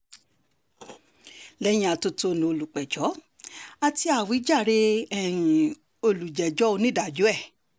lẹ́yìn atótónu olùpẹ̀jọ́ àti àwíjàre um olùjẹ́jọ́ onídàájọ́ ẹ̀